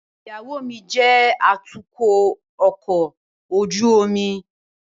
Iyawo mi jẹ atukọ ọkọ ojú omi